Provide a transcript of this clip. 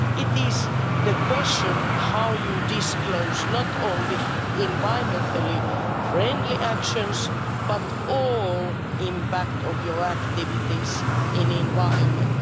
It is the question how you disclose not only environmentally friendly actions but the whole impact of your activities in the environment.